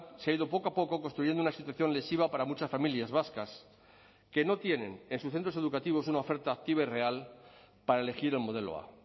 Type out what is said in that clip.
se ha ido poco a poco construyendo una situación lesiva para muchas familias vascas que no tienen en sus centros educativos una oferta activa y real para elegir el modelo a